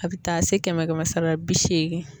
A bi taa se kɛmɛ kɛmɛ sara la, bi seegin